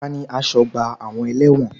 Tani asọ́gbà àwọn ẹlẹ́wọ̀n?